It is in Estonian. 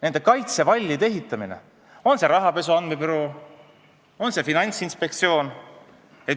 Nende kaitsevallide ehitamine, on jutt siis rahapesu andmebüroost või Finantsinspektsioonist.